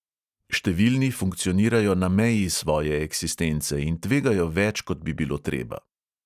Številni funkcionirajo na meji svoje eksistence in tvegajo več, kot bi bilo treba.